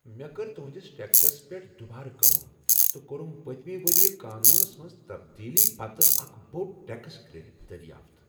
مےٚ کٕر تہنٛدِس ٹیکسس پیٹھ دٗبارٕ کٲم تہٕ کوٚرم پٔتمہ ؤرۍ قانونس منٛز تبدیلی پتہٕ اکھ بوڈ ٹیکس کریڈٹ دریافت۔